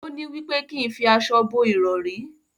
òní wípé kín fí aṣọ bó irọri.